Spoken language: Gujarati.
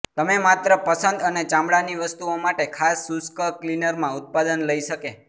તમે માત્ર પસંદ અને ચામડાની વસ્તુઓ માટે ખાસ શુષ્ક ક્લીનર માં ઉત્પાદન લઈ શકે